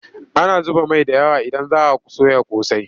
Ana zuba mai da yawa idan za a soya ƙosai.